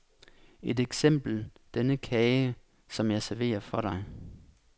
Et eksempel denne kage, som jeg serverer for dig.